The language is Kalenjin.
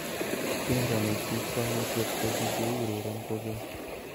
tiendo ni ki kwangutiet kokikiureren kokeny